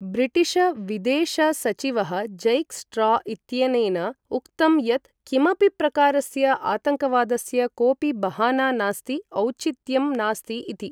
ब्रिटिशविदेशसचिवः Jack Straw इत्यनेन उक्तं यत् किमपि प्रकारस्य आतङ्कवादस्य कोपि बहाना नास्ति, औचित्यं नास्ति इति ।